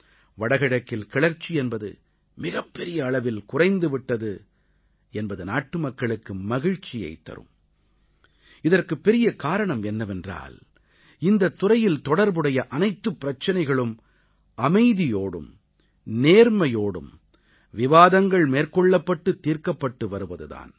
வடகிழக்கில் கிளர்ச்சி என்பது மிகப்பெரிய அளவில் குறைந்து விட்டது என்பது நாட்டுமக்களுக்கு மகிழ்ச்சியைத் தரும் இதற்குப் பெரிய காரணம் என்னவென்றால் இந்தத் துறையில் தொடர்புடைய அனைத்து பிரச்சனைகளும் அமைதியோடும் நேர்மையோடும் விவாதங்கள் மேற்கொள்ளப்பட்டு தீர்க்கப்பட்டு வருவது தான்